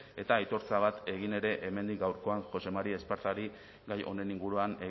eta aitortza bat egin ere hemendik gaurkoan jose mari espartzari gai honen inguruan